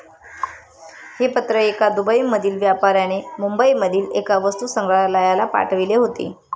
हे पत्र एका दुबईमधील व्यापाऱ्याने मुंबईमधील एका वस्तुसंग्रहालयाला पाठविले होते.